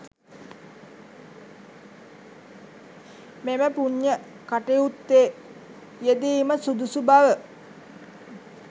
මෙම පූණ්‍ය කටයුත්තේ යෙදීම සුදුසු බව